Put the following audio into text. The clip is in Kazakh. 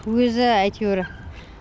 өзі әйтеуір